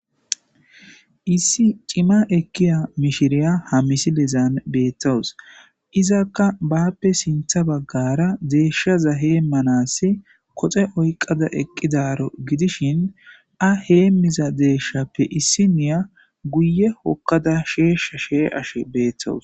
Issi cima eqkiya mishiriya ha misilezan beettowus izakka bappe sintha baggara deeshshaza heemmanas koxe oyqada eqqidaro gidishin a heemiza deeshshappe issi niya guye hokkada sheesha shee ashe beettowus